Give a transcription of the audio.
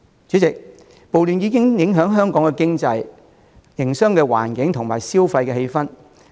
主席，暴亂已影響香港經濟、營商環境和消費氣氛。